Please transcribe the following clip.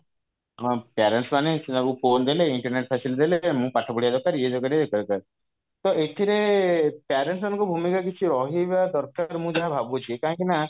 ହଁ parents ମାନେ ସିନା ତାକୁ phone ଦେଲେ internet facility ଦେଲେ ମୁଁ ପାଠ ପଢିବା ଦରକାର ଇଏ ଦରକାର ସିଏ ଦରକାର ତ ଏଥିରେ parents ମାନଙ୍କ ଭୂମିକା କିଛି ରହିବା ଦରକାର ମୁଁ ଯାହା ଭାବୁଛି କାହିଁକି ନା